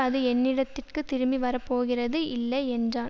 அது என்னிடத்துக்குத் திரும்பி வர போகிறது இல்லை என்றான்